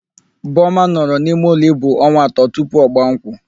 Boma nọrọ n'imeụlọ ibu onwa atọ tupu ọgbaa nkwụ.